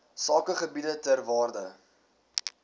sakegebiede ter waarde